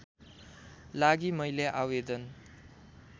लागि मैले आवेदन